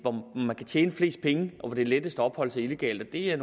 tjene flest penge og hvor det er lettest at opholde sig illegalt og det er